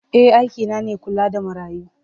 Eh aikina ne kula da marayu.